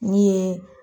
Ne ye